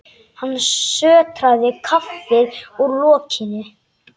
Hann sötraði kaffið úr lokinu.